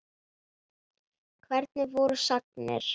Hvernig voru sagnir?